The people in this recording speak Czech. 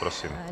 Prosím.